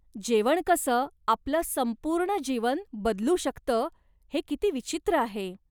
जेवण कसं आपलं संपूर्ण जीवन बदलू शकतं हे किती विचित्र आहे.